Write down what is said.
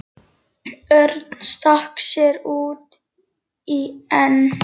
Örn stakk sér út í en